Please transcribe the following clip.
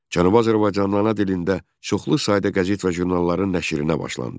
Cənubi Azərbaycanda ana dilində çoxlu sayda qəzet və jurnalların nəşrinə başlandı.